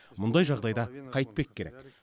мұндай жағдайда қайтпек керек